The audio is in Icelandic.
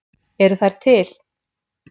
Eru þær til?